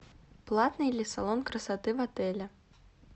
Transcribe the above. платный ли салон красоты в отеле